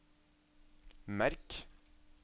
merk